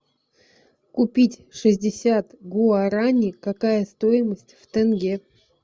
купить шестьдесят гуарани какая стоимость в тенге